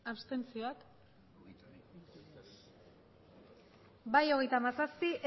abstentzioak bai hogeita hamazazpi